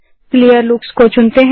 Clearlooks को चुनते हैं